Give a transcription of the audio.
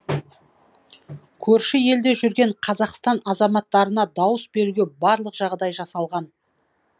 көрші елде жүрген қазақстан азаматтарына дауыс беруге барлық жағдай жасалған